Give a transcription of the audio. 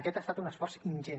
aquest ha estat un esforç ingent